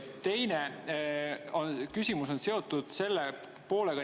Teine küsimus on seotud sellise poolega.